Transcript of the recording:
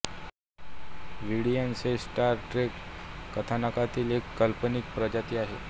Vidiians हे Star Trek कथानाकातील एक काल्पनिक प्रजाती आहे